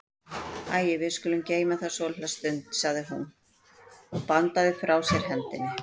Æi, við skulum geyma það svolitla stund, sagði hún og bandaði frá sér hendinni.